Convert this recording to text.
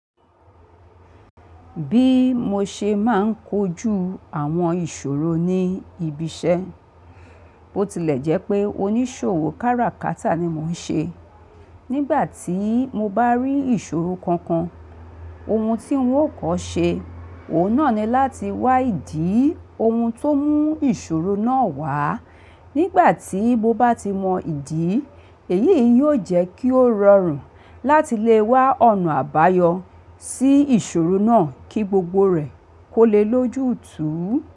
Bí mo ṣe máa ń kojú àwọn ìṣòro ní ibi iṣẹ́, bó tilẹ̀ jẹ́ pé oníṣòwò kára kátà ni mò ń ṣe. Nígbà tí mo bá rí ìṣòro kankan, ohun tí ń ò kọ́ ṣe, òun náà ni láti wá ìdí ohun ti omú ìṣòro náà wá. Nígbà tí mo bá ti mọ ìdí, èyí e yóò jẹ́ kí ó rọrùn láti lè wá ọ̀nà àbáyọ sí ìṣòro náà kí gbogbo rẹ̀ kó lè lójú túú.